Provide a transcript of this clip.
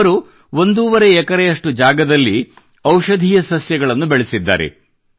ಅವರು ಒಂದೂವರೆ ಎಕರೆಯಷ್ಟು ಜಾಗದಲ್ಲಿ ಔಷಧೀಯ ಸಸ್ಯಗಳನ್ನು ಬೆಳೆಸಿದ್ದಾರೆ